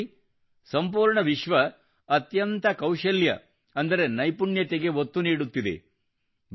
ಈಗ ನೋಡಿ ಸಂಪೂರ್ಣ ವಿಶ್ವ ಅತ್ಯಂತ ಕೌಶಲ್ಯ ಅಂದರೆ ನೈಪುಣ್ಯತೆಗೆ ಒತ್ತು ನೀಡುತ್ತಿದೆ